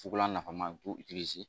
Fukolan nafama b'u ye